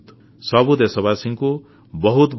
ସବୁ ଦେଶବାସୀଙ୍କୁ ବହୁତବହୁତ ନମସ୍କାର